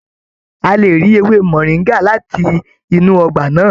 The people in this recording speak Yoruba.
A lè rí ewé moringa láti inú ọgbà náà.